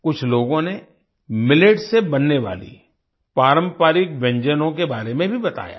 कुछ लोगों ने मिलेट से बनने वाली पारंपरिक व्यंजनो के बारे में भीबताया है